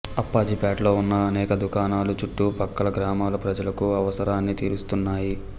అప్పాజిపేటలో ఉన్న అనేక దుకాణాలు చుట్టూ ప్రక్కల గ్రామాల ప్రజలకు అవసరాన్ని తీరుస్తున్నాయి